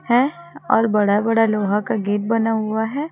है और बड़ा बड़ा लोहा का गेट बना हुआ है।